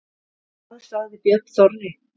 Hvað sagði Björn Þorri?